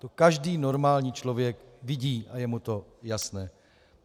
To každý normální člověk vidí a je mu to jasné.